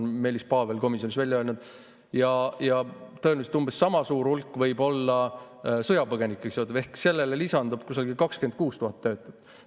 Ja tõenäoliselt umbes sama suur hulk võib olla sõjapõgenikega seotud ehk sellele lisandub kusagil 26 000 töötut.